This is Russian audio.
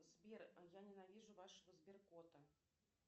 сбер я ненавижу вашего сберкота